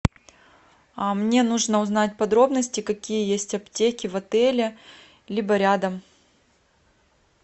мне нужно узнать подробности какие есть аптеки в отеле либо рядом